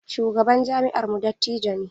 Shugaban jami'armu dattijo ne.